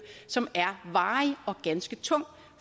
som er varig og ganske tung